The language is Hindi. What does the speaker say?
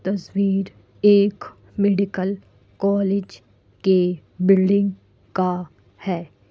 तस्वीर एक मेडिकल कॉलेज के बिल्डिंग का है।